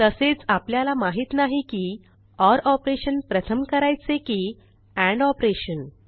तसेच आपल्याला माहित नाही की ओर ऑपरेशन प्रथम करायचे की एंड ऑपरेशन